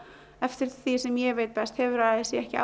eftir því sem ég veit best hefur a s í ekki